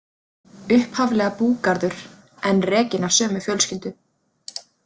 Upphaflega búgarður, enn rekinn af sömu fjölskyldu.